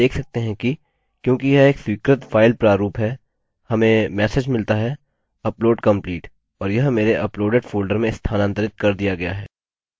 आप देख सकते हैं कि क्योंकि यह एक स्वीकृत फाइल प्रारूप है हमें मेसेज मिलता हैupload complete और यह मेरे अपलोडेड फोल्डर में स्थानांतरित कर दिया गया है